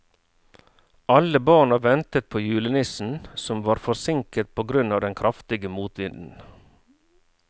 Alle barna ventet på julenissen, som var forsinket på grunn av den kraftige motvinden.